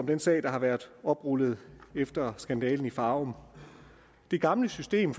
den sag der har været oprullet efter skandalen i farum det gamle system